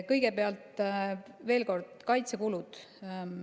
Kõigepealt veel kord kaitsekulud.